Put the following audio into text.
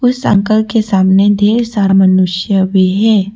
के सामने ढेर सारा मनुष्य भी है।